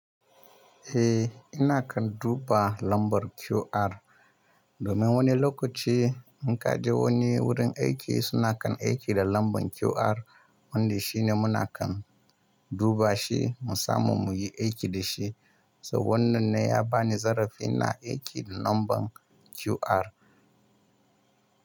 Eh, ina kan duba lambar QR. Domin wani lokaci in ka je wani wurin aiki suna kan aiki da lambar QR, wanda shine muna kan duba shi musamman muyi aiki da shi. So wannan ne ya bani zarafi na aiki da lambar QR.